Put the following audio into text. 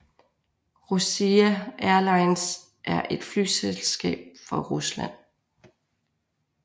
Rossiya Airlines er et flyselskab fra Rusland